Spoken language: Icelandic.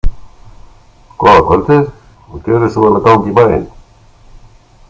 Góða kvöldið, og gerið svo vel að ganga í bæinn!